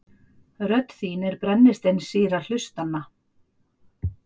Rödd þín er brennisteinssýra hlustanna.